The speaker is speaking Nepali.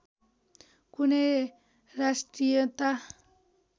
कुनै राष्ट्रियता